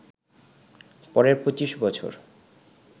পরের ২৫ বছর